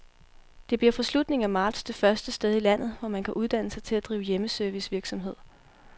Det bliver fra slutningen af marts det første sted i landet, hvor man kan uddanne sig til at drive hjemmeservicevirksomhed.